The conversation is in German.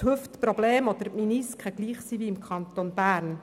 die Probleme mit den Hüften oder mit den Menisken gleich sind wie im Kanton Bern.